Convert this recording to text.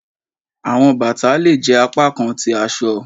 Awọn bata le jẹ apakan ti aṣọ.